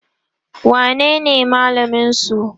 wanene malamin su?